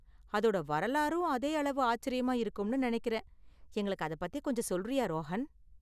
அதோட வரலாறும் அதே அளவு ஆச்சரியமா இருக்கும்னு நினைக்கிறேன், எங்களுக்கு அதை பத்தி கொஞ்சம் சொல்றியா, ரோஹன்?